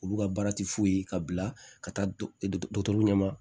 Olu ka baara tɛ foyi ye ka bila ka taa dɔgɔtɔrɔ ɲɛ ma